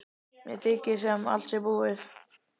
Mér þykir sem allt sé búið.